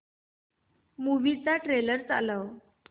movie चा trailer चालव